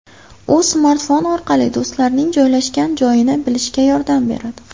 U smartfon orqali do‘stlarning joylashgan joyini bilishga yordam beradi.